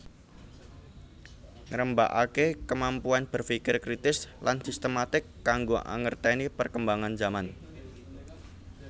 Ngrembakakake kemampuan berfikir kritis lan sistematik kanggo angerteni perkembangan zaman